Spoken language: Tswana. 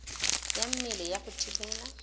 ya mmele ya go thibela